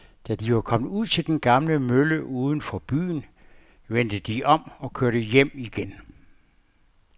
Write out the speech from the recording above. Da de var kommet ud til den gamle mølle uden for byen, vendte de om og kørte hjem igen.